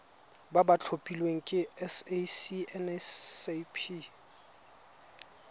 ba ba tlhophilweng ke sacnasp